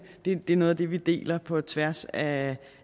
er noget af det vi deler på tværs af